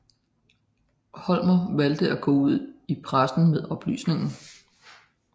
Holmér valgte at gå ud i pressen med oplysningen